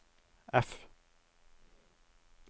F